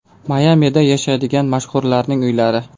Mayamida yashaydigan mashhurlarning uylari .